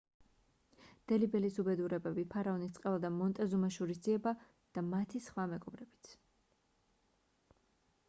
დელი ბელის უბედურებები ფარაონის წყევლა და მონტეზუმას შურისძიება და მათი სხვა მეგობრებიც